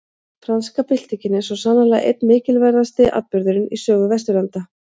Franska byltingin er svo sannarlega einn mikilverðasti atburðurinn í sögu Vesturlanda.